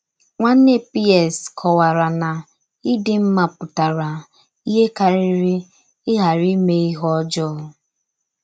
Nwànnè Pierce kọ̀wàrà na ìdí mma pụtara íhè karìrị ịghàrí ímè íhè ọ́jọọ.